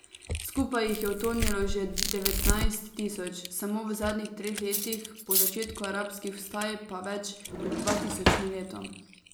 Skupaj jih je utonilo že devetnajst tisoč, samo v zadnjih treh letih po začetku arabskih vstaj pa več kot dva tisoč na leto.